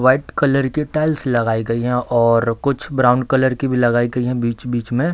White colour के tiles लगाए गई है और कुछ ब्राउन कलर की भी लगाई गई है बीच-बीच में।